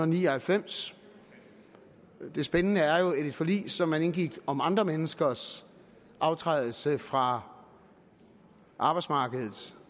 ni og halvfems det spændende er jo at et forlig som man indgik om andre menneskers aftrædelse fra arbejdsmarkedet